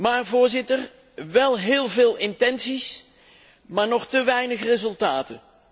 Maar, Voorzitter, wel heel veel intenties, maar nog te weinig resultaten.